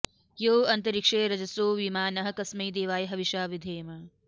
यो अन्तरिक्षे रजसो विमानः कस्मै देवाय हविषा विधेम